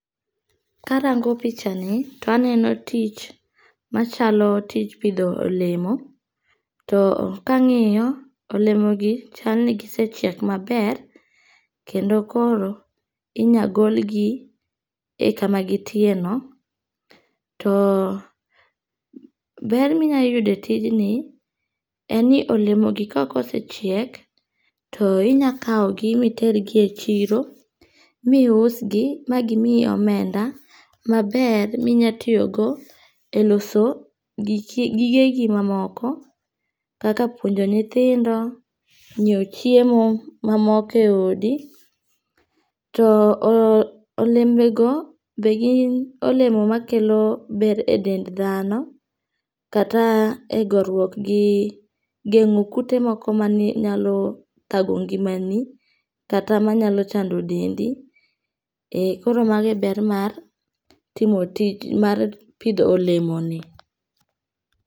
Karango pichani to aneno tich machalo tich pitho olemo, to akangi'yo olemogi chalni gisechiek maber kendo koro inyal golgi e kama gin tiere no, to ber minyalo yudo e tijni en ni olemogi ka osechiek to inyalo kawo gi ma itergi e chiro ma iusgi ma gimiyi omenda maber minyalo tiyogo e loso gigegi mamoko kaka puonjo nyithindo, nyiewo chiemo mamoko e odi, to olembego be gin olemo ma kelo ber e dend thano, kata e goruok gi gengo' kute moko manie manyalo thago ngimani, kata manyalo chando dendi, e koro mago e ber mag pitho olemoni.